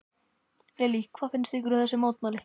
Lillý: Hvað finnst ykkur um þessi mótmæli?